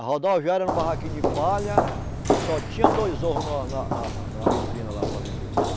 A rodoviária era um barraquinho de palha, só tinha dois ovos no na na na na vitrine lá para vender.